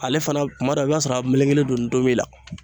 Ale fana kuma dɔ i bɛ t'a sɔrɔ a melekelen don ntomi na